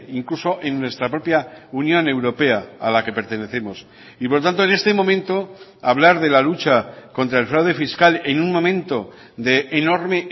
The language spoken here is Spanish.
incluso en nuestra propia unión europea a la que pertenecemos y por lo tanto en este momento hablar de la lucha contra el fraude fiscal en un momento de enorme